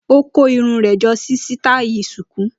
Ó kó irun rẹ̀ jọ sí sítáí Shuku.